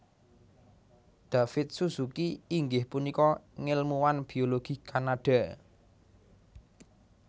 David Suzuki inggih punika ngèlmuwan biologi Kanada